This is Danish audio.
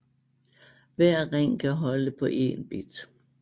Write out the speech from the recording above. Hver ring kan holde på én bit